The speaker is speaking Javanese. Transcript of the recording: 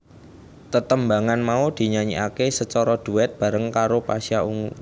Tetembangan mau dinyanyikaké sacara duet bareng karo Pasha Ungu